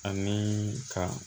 Ani ka